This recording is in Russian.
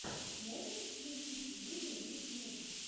можешь включить лиду ютьюб